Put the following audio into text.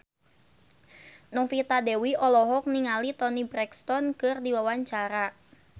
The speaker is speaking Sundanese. Novita Dewi olohok ningali Toni Brexton keur diwawancara